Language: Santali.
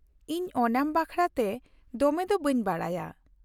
ᱤᱧ ᱳᱱᱟᱢ ᱵᱟᱠᱷᱨᱟᱛᱮ ᱫᱚᱢᱮ ᱫᱚ ᱵᱟᱹᱧ ᱵᱟᱲᱟᱭᱟ ᱾